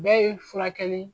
bɛɛ ye furakɛli